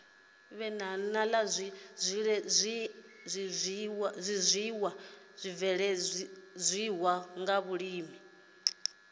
la zwiiwa zwibveledzwaho nga vhulimi